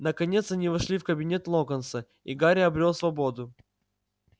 наконец они вошли в кабинет локонса и гарри обрёл свободу